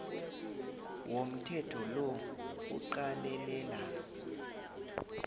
womthetho lo kuqalelela